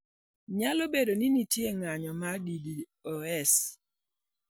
Nyalo bedo ni nitie ng'anyo mar DDoS